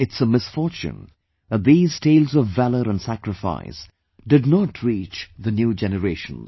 But it's a misfortune that these tales of valour and sacrifice did not reach the new generations